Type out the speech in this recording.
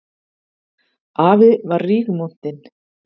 Afi var rígmontinn.